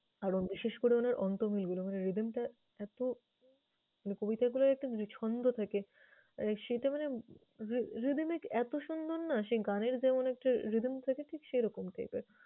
আরও বিশেষ করে উনার অন্ত্যমিলগুলো মানে rhythm টা এত মানে কবিতাগুলার একটা যে ছন্দ থাকে, সেটা মানে rhy~rhythmic এত সুন্দর না সে গানের যেমন একটা rhythm থাকে ঠিক সেইরকম type এর।